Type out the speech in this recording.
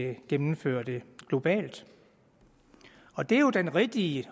at gennemføre det globalt og det er jo den rigtige